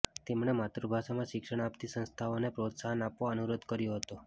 તેમણે માતૃભાષામાં શિક્ષણ આપતી સંસ્થાઓને પ્રોત્સાહન આપવા અનુરોધ કર્યો હતો